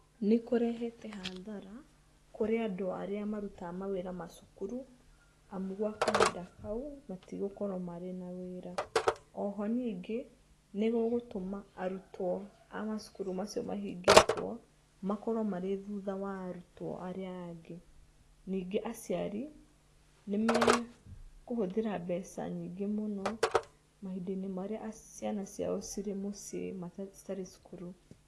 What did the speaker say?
Nĩkũrehete hadhara kũrĩ andũ arĩa marutaga mawĩra macukuru amu gwa kahinda kau matigũkorwo marĩ na wĩra. Oho ningĩ, nĩgũgũtũma arutwo a macukuru macio mahingĩtwo makorwo marĩ thutha wa arutwo arĩa angĩ. Nyingĩ aciari, nĩmekũhũthĩra mbeca nyingĩ mũno maũndũ marĩa ciana ciao cirĩ mũciĩ citarĩ cukuru.